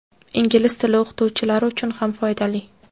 ingliz tili o‘qituvchilari uchun ham foydali.